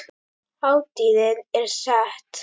Hátíðin er sett.